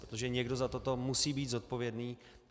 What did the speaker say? Protože někdo za toto musí být zodpovědný.